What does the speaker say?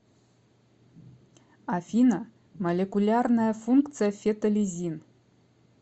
афина молекулярная функция фетолизин